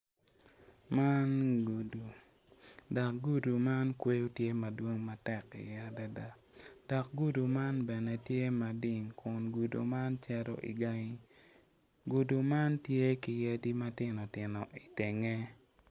Man gudi dok gudi man kweyo tye madwong matek adada iye dok gudo man tye mading dok gudi man cito i gangi, gudi man tye ki yadi matino titno i tenge.